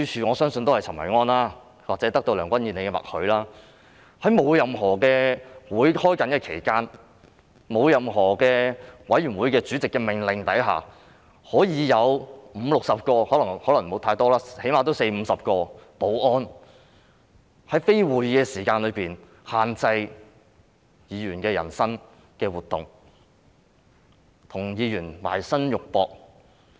我相信也是陳維安或是得到梁君彥的默許，在沒有會議舉行期間，在沒有任何委員會主席的命令下，竟然有五六十個——可能沒有這麼多，但最低限度也有四五十個——保安人員在非會議舉行時間內限制議員的人身活動，與議員"埋身肉搏"。